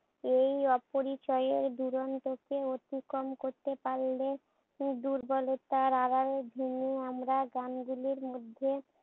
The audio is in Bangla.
এই অপরিচয়ের দূরন্তকে অতিক্রম করতে পারলে দুর্বলতার আড়ালে আমরা গানগুলির মধ্যে